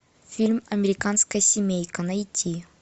фильм американская семейка найти